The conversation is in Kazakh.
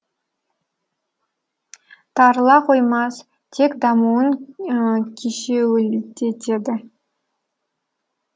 тарыла қоймас тек дамуын кешеуілдетеді